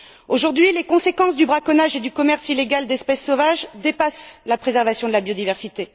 Aujourd'hui, les conséquences du braconnage et du commerce illégal d'espèces sauvages dépassent la préservation de la biodiversité.